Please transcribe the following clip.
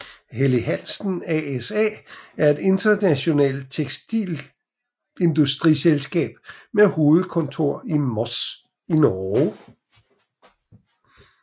Helly Hansen ASA er et internationalt tekstilindustriselskab med hovedkontor i Moss i Norge